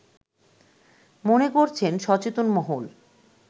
মনে করছেন সচেতন মহল